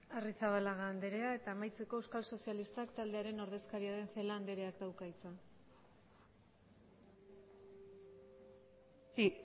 arrizabalaga andrea eta amaitzeko euskal sozialistak taldearen ordezkaria den celaá andreak dauka hitza sí